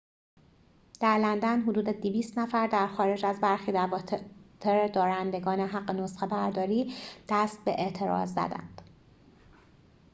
در لندن حدود ۲۰۰ نفر در خارج از برخی دفاتر دارندگان حق نسخه‌برداری دست به اعتراض زدند